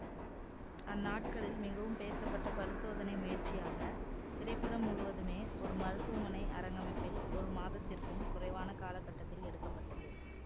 அந்நாட்களில் மிகவும் பேசப்பட்ட பரிசோதனை முயற்சியாக திரைப்படம் முழுவதுமே ஒரு மருத்துவமனை அரங்கமைப்பில் ஒரு மாதத்திற்கும் குறைவான காலகட்டத்தில் எடுக்க பட்டது